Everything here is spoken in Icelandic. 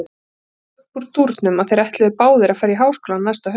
Það kom upp úr dúrnum að þeir ætluðu báðir að fara í háskólann næsta haust.